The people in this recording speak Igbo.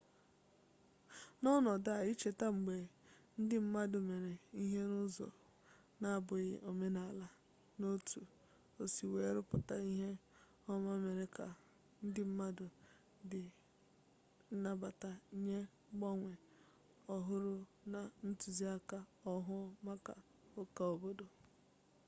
n'ọnọdụ a icheta mgbe ndị mmadụ mere ihe n'ụzọ na-abụghị omenala na otu o si wee rụpụta ihe ọma mere ka ndị mmadụ dị nnabata nye mgbanwe ọhụrụ na ntụzịaka ọhụụ maka ụka obodo